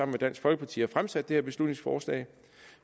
med dansk folkeparti har fremsat det her beslutningsforslag